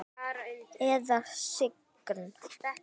Eða skyggn?